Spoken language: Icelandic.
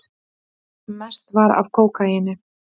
Mest var af kókaíni.